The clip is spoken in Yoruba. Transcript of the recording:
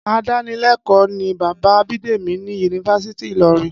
Adánilé̩kò̩ó̩ ni bàbá Bídèmí ní Yunifásítì Ìlo̩rin